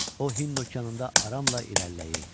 O Hind Okeanında aramla irəliləyirdi.